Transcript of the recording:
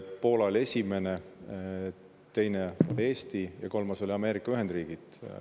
Poola oli esimene, teine Eesti ja kolmas oli Ameerika Ühendriigid.